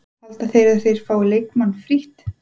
Halda þeir að þeir fái leikmann frítt?